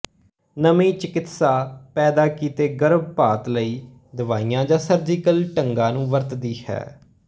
ਨਵੀਂ ਚਿਕਿਤਸਾ ਪੈਦਾ ਕੀਤੇ ਗਰਭਪਾਤ ਲਈ ਦਵਾਈਆਂ ਜਾਂ ਸਰਜੀਕਲ ਢੰਗਾਂ ਨੂੰ ਵਰਤੀ ਹੈ